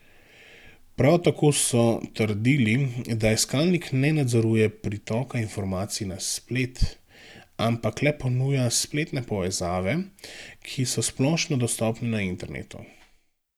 Prav tako so trdili, da iskalnik ne nadzoruje pritoka informacij na splet, ampak le ponuja spletne povezave, ki so splošno dostopne na internetu.